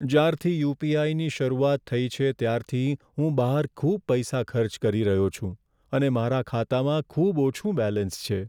જ્યારથી યુ.પી.આઈ.ની શરૂઆત થઈ છે ત્યારથી હું બહાર ખૂબ પૈસા ખર્ચ કરી રહ્યો છું અને મારા ખાતામાં ખૂબ ઓછું બેલેન્સ છે.